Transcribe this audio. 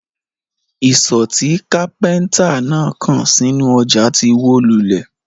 Isọ̀ tí kápẹ́ńtà náà kàn sínú ọjà ti wó lulẹ̀.